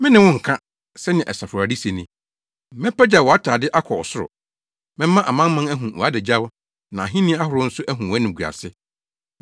“Me ne wo nka,” sɛnea Asafo Awurade se ni, “Mɛpagyaw wʼatade akɔ soro. Mɛma amanaman ahu wʼadagyaw na ahenni ahorow nso ahu wʼanimguase.